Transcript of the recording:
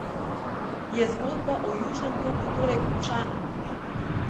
Je zgodba o Južnem toku torej končana?